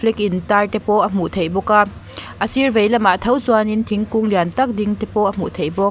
intar te pawh a hmuh theih bawk a a sir veilamah tho chuanin thingkung lian tak ding te pawh a hmuh theih bawk.